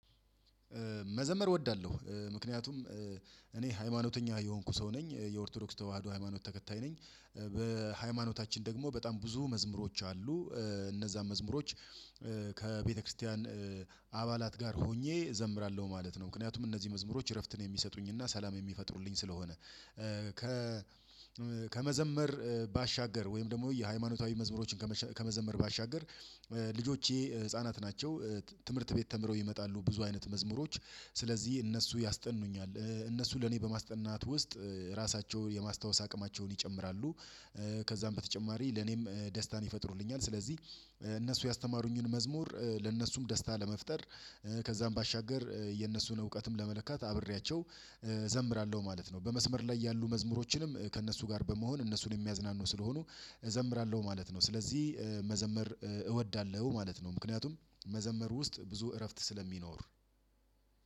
መዘመር እወዳለሁ ምክንያቱም እኔ ሃይማኖተኛ የሆንኩ ሰው ነኝ የኦርቶዶክስ ተዋህዶ ሃይማኖት ተከታይ ነኝ። በሃይማኖታችን ደግሞ በጣም ብዙ መዝሙሮች አሉ። እነዛን መዝሙሮች ከቤተክርስቲያን አባላት ጋር ሆኜ እዘምራለሁ ማለት ነው። ምክንያቱም እነዚህ መዝሙሮች እረፍትን የሚሰጡኝና ሰላም የሚፈጥሩልኝ ስለሆነ። ከ ከመዘመር ባሻገር ወይም ደግሞ የሃይማኖታዊ መዝሙሮችን ከመዘመር ባሻገር ልጆቼ ህፃናት ናቸው። ትምህርት ቤት ተምረው ይመጣሉ ብዙ አይነት መዝሙሮች ስለዚህ እነሱ ያስጠኑኛል። እነሱ ለኔ በማስጠናት ውስጥ ራሳቸውን የማስታወስ አቅማቸውን ይጨምራሉ። ከዛም በተጨማሪ ለኔም ደስታን ይፈጥሩልኛል። ስለዚህ እነሱ ያስተማሩኝን መዝሙር ለነሱም ደስታ ለመፍጠር ከዛም ባሻገር የነሱን እውቀትም ለመለካት አብሬያቸው እዘምራለሁ ማለት ነው። በመስመር ላይ ያሉ መዝሙሮችንም ከእነሱ ጋር በመሆን እነሱን የሚያዝናኑ ስለሆኑ እዘምራለሁ ማለት ነው። ስለዚህ መዘመር እወዳለሁ ማለት ነው። ምክንያቱም መዘመር ውስጥ ብዙ እረፍት ስለሚኖር